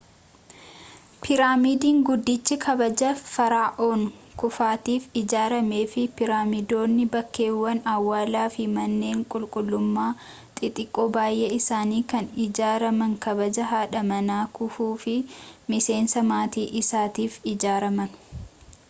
piraamiidiin guddichi kabaja fara'oon kuufuutiif ijaarame fi piraamiidonni bakkeewwan awwaalaa fi manneen qulqullummaa xixiqqoo baay'een isaanii kan ijaaraman kabaja haadha manaa kufuu fi miseensa maatii isaatiif ijaaraman